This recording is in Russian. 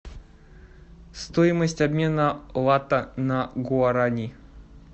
стоимость обмена лата на гуарани